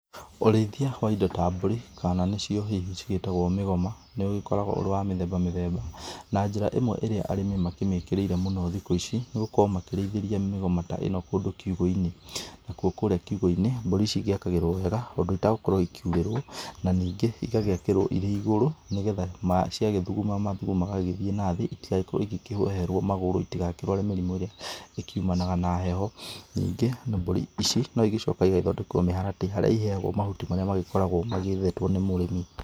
Ũrĩithia wa indo ta mbũri, kana nicio hihi cigĩtagwo mĩgoma, nĩũgĩkoragwo ũrĩ wa mĩthemba mĩthemba. Na njĩra ĩmwe ĩrĩa arĩmi makĩmĩkĩrĩire mũno thikũ ici, nĩgũkorwo makĩrĩithĩria migoma ta ĩno kũndũ kiugũ-inĩ. Nakuo kũrĩa kiugũ-inĩ, mbũri ici igĩakagĩrwo wega, ũndũ itagũkorwo ikiurĩrwo. Na ningĩ igagĩakĩrwo irĩ igũrũ, nĩgetha ciagĩthuguma mathugumo magagĩthiĩ nathĩ, itigakorwo ikĩheherwo magũrũ, itigakĩrware mĩrimũ irĩa ĩkiumanaga na heho. Ningĩ mbũri ici, noigĩcokaga igagĩthondekerwo mĩharatĩ harĩa iheagwo mahuti marĩa magĩkoragwo magĩethetwo nĩ mũrimi.